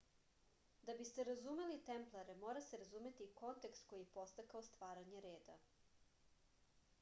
da biste razumeli templare mora se razumeti i kontekst koji je podstakao stvaranje reda